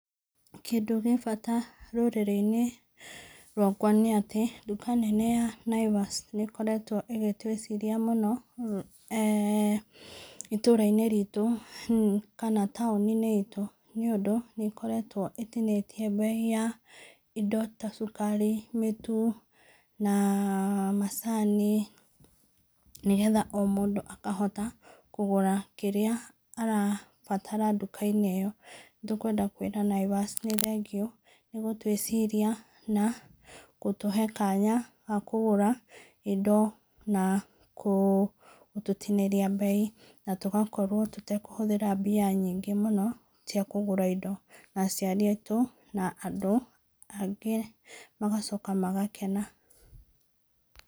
Kĩndũ gĩ bata rũrĩrĩ-inĩ rwakwa nĩ atĩ, nduka nene ya Naivas nĩ ĩkoretwo ĩgĩtũĩciria mũno, eeh itũũra-inĩ ritũ kana taũni-inĩ itũ nĩũndũ nĩkoretwo ĩtinĩtie mbei ya indo ta cukari, mĩtu na macani nĩgetha o mũndũ akahota kũgũra kĩrĩa arabatara nduka-inĩ ĩyo. Nĩtũkwenda kũĩra Naivas nĩ thengio nĩ gũtũĩciria na gũtũhe kanya ga kũgũra indo na gũtũtinĩria mbei na tũgakorwo tũtakũhũthĩra mbia nyingĩ mũno cia kũgũra indo, na aciari aitũ na andũ angĩ magacoka magakena.